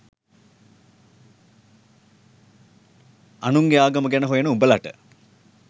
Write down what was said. අනුන්ගේ ආගම ගැන හොයන උඹලට